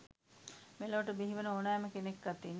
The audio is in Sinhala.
මෙලොවට බිහිවන ඕනෑම කෙනෙක් අතින්